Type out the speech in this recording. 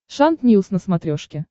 шант ньюс на смотрешке